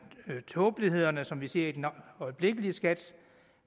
tåbelighederne som vi ser i den øjeblikkelige skat